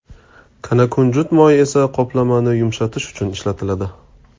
Kanakunjut moyi esa qoplamani yumshatish uchun ishlatiladi.